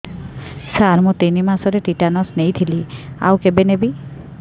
ସାର ମୁ ତିନି ମାସରେ ଟିଟାନସ ନେଇଥିଲି ଆଉ କେବେ ନେବି